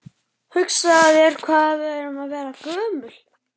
Hugsaðu þér hvað við erum að verða gömul.